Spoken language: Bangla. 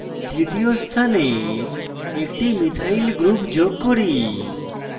তৃতীয় স্থানে একটি মিথাইল ch3 group যোগ করি